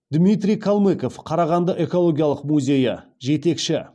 дмитрий калмыков қарағанды экологиялық музейі жетекші